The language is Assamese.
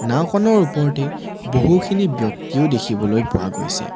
নাওঁখনৰ ওপৰতেই বহুখিনি ব্যক্তিও দেখিবলৈ পোৱা গৈছে।